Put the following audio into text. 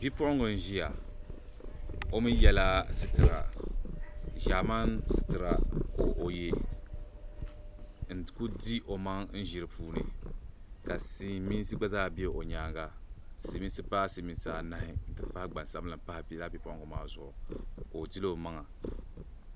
Bipuɣiŋga n-ʒiya o mi yɛla sitira ʒɛman' sitira ka o ye n-kuli di omaŋa ʒi di puuni ka siliminsi gba zaa be o nyaaŋa siliminsi paai siliminsi anahi n-ti pahi gbansabila m-pahi bipuɣiŋga maa zuɣu ka o diri omaŋa